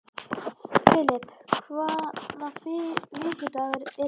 Filip, hvaða vikudagur er í dag?